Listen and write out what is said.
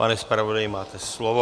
Pane zpravodaji, máte slovo.